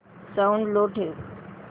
sound low ठेव